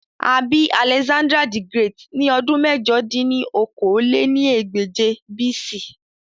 À bi Alexander-the-Great ni ọdun mẹ̀jọ dín ní okòó-lé-ní-ẹgbẹ́je BC.